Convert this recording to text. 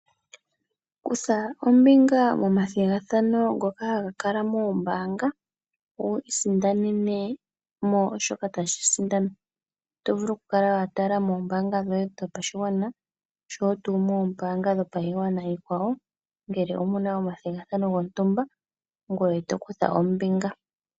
Kutha ombinga momathigathano ngoka ha ga kala moombaanga, wu isindanene mo shoka tashi sindanwa, oto vulu oku kala watala moombaanga dhoye dhopashigwana, osho wo tuu moombaanga dhopaigwana iikwawo ngele omu na omathigathano gontumba, ngoye to kutha ombinga.